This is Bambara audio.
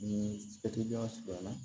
Ni jara surunyan na